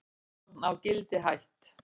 Rannsókn á Gildi hætt